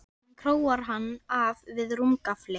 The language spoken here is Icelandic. Hún króar hann af við rúmgaflinn.